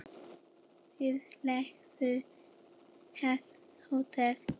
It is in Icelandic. Við leigðum heilt hótel.